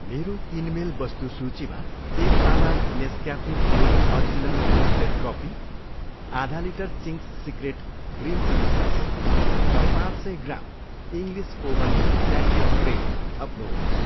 मेरो किनमेल वस्तु सूचीमा एक पावा Nescafe gold original roasted coffee, आधा litre Ching's secret green chilli sauce र पाँच सय gram English oven sandwich bread थप्नुहोस्।